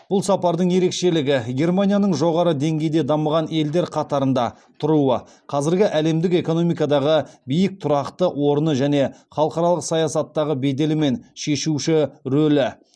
бұл сапардың ерекшелігі германияның жоғары деңгейде дамыған елдер қатарында тұруы қазіргі әлемдік экономикадағы биік тұрақты орны және халықаралық саясаттағы беделі мен шешуші рөлі